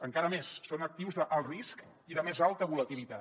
encara més són actius d’alt risc i de més alta volatilitat